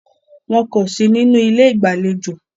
Wọn kò sí nínú ilé ìgbàlejò.